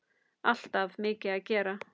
Alltaf mikið að gera.